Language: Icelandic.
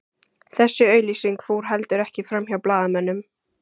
Þessi auglýsing fór heldur ekki framhjá blaðamönnum